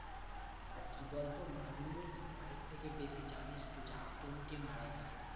আরকি বলতো মানুষ ভয়ের থেকে বেশি জানিস তো যে আতঙ্কে মারা যায়